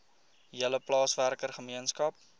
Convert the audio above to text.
hele plaaswerker gemeenskap